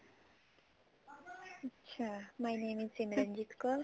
ਅੱਛਾ my name is Simranjeet core